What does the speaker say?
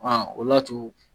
o le y'a to